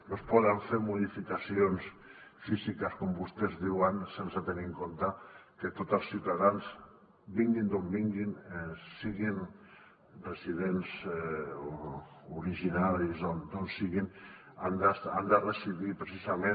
no es poden fer modificacions físiques com vostès diuen sense tenir en compte que tots els ciutadans vinguin d’on vinguin siguin residents o originaris d’on siguin han de residir precisament